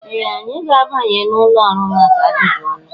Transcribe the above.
Ee! Anyị ga-abanye n'ụlọ ọrụ maka ajụjụ ọnụ.